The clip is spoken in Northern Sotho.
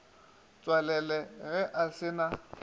tswalela ge a se na